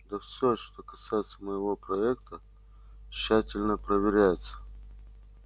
да все что касается моего проекта тщательно проверяется